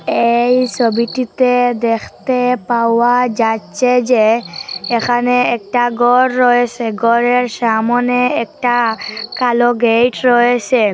এই সবিটিতে দেখতে পাওয়া যাচ্ছে যে এখানে একটা গর রয়েসে গরের সামোনে একটা কালো গেট রয়েসে।